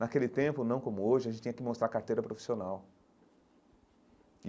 Naquele tempo, não como hoje, a gente tinha que mostrar carteira profissional.